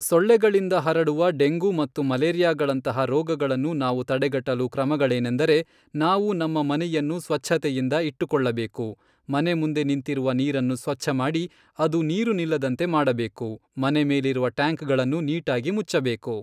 ಸೊಳ್ಳೆಗಳಿಂದ ಹರಡುವ ಡೆಂಗು ಮತ್ತು ಮಲೇರಿಯಾಗಳಂತಹ ರೋಗಗಳನ್ನು ನಾವು ತಡೆಗಟ್ಟಲು ಕ್ರಮಗಳೇನೆಂದರೆ ನಾವು ನಮ್ಮ ಮನೆಯನ್ನು ಸ್ವಚ್ಛತೆಯಿಂದ ಇಟ್ಟುಕೊಳ್ಳಬೇಕು ಮನೆ ಮುಂದೆ ನಿಂತಿರುವ ನೀರನ್ನು ಸ್ವಚ್ಛಮಾಡಿ ಅದು ನೀರು ನಿಲ್ಲದಂತೆ ಮಾಡಬೇಕು ಮನೆ ಮೇಲಿರುವ ಟ್ಯಾಂಕ್ಗಳನ್ನು ನೀಟಾಗಿ ಮುಚ್ಚಬೇಕು